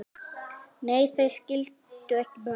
Nei, þeir skildu ekki baun.